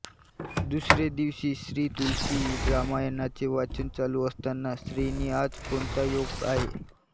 दुसरे दिवशी श्रीतुलसीरामायणाचे वाचन चालू असताना श्रींनी आज कोणता योग आहे